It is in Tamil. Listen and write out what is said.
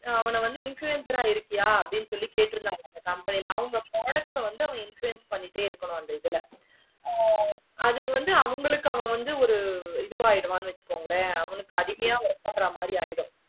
அவங்க வந்து influencer ஆஹ் இருக்கியா ஹம் appadi உம் சொல்லி கேட்டிருந்த அவங்க products வந்து influence ஆஹ் பண்ணிட்டாய் இருக்கணும் நெறைய ஹம் உம் அது வந்து அவங்களுக்கு பாரு இது ஆகிடும் நினச்சிக்கோ அவங்களுக்கு ஆத்மிய இருக்கோம் ஹம் உம் அது தான்